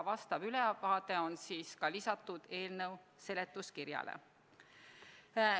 See ülevaade on ka lisatud eelnõu seletuskirjale.